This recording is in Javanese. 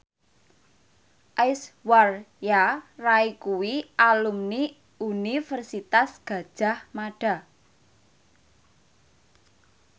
Aishwarya Rai kuwi alumni Universitas Gadjah Mada